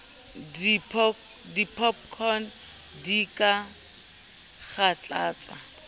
di popcorn di ka kgathatsa